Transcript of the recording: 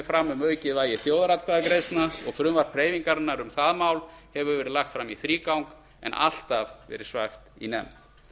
fram um aukið vægi þjóðaratkvæðagreiðslna og frumvarp hreyfingarinnar um það mál hefur verið lagt fram í þrígang en alltaf verið svæft í nefnd